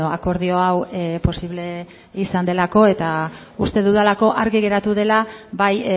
akordio hau posible izan delako eta uste dudalako argi geratu dela bai